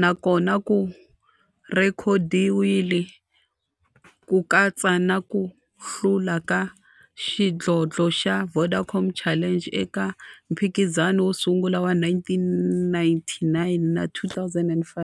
na kona ku rhekhodiwile, ku katsa na ku hlula ka xidlodlo xa Vodacom Challenge eka mphikizano wo sungula wa 1999 na 2005.